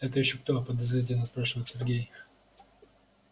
это ещё кто подозрительно спрашивает сергей